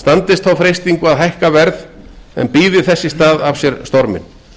standist þá freistingu að hækka verð en bíði þess í stað af sér storminn